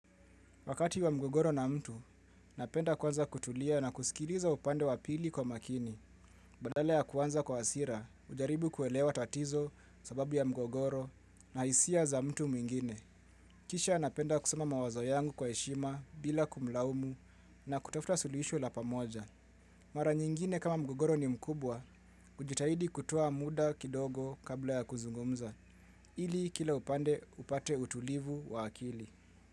Wakati wa mgogoro na mtu, napenda kwanza kutulia na kusikiliza upande wa pili kwa makini. Badala ya kuanza kwa hasira, hujaribu kuelewa tatizo sababu ya mgogoro na hisia za mtu mwingine. Kisha napenda kusema mawazo yangu kwa heshima bila kumlaumu na kutafuta suluhisho la pamoja. Mara nyingine kama mgogoro ni mkubwa, hujitahidi kutoa muda kidogo kabla ya kuzungumza. Ili kila upande upate utulivu wa akili.